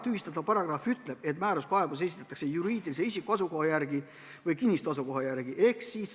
Tühistatav paragrahv ütleb, et määruskaebus esitatakse juriidilise isiku asukoha järgi või kinnistu asukoha järgi.